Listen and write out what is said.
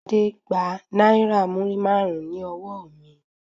Ṣadé gba náírà múrímàrún ní ọwọ mi.